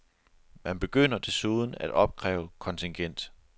Man begynder desuden at opkræve kontingent.